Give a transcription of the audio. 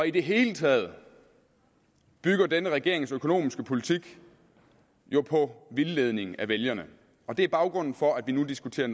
i det hele taget bygger denne regerings økonomiske politik jo på vildledning af vælgerne og det er baggrunden for at vi nu diskuterer